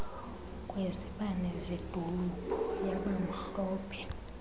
kwezibane zedolophu yabamhlophe